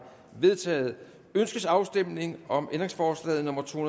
vedtaget ønskes afstemning om ændringsforslag nummer to